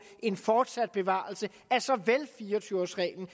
en fortsat bevarelse af såvel fire og tyve års reglen